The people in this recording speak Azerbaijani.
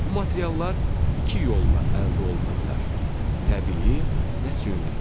Bu materiallar iki yolla əldə oluna bilər: təbii və süni.